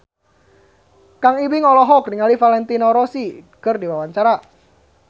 Kang Ibing olohok ningali Valentino Rossi keur diwawancara